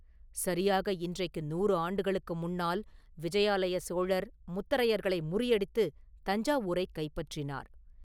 சரியாக இன்றைக்கு நூறு ஆண்டுகளுக்கு முன்னால் விஜயாலய சோழர் முத்தரையர்களை முறியடித்து தஞ்சாவூரைக் கைப்பற்றினார்.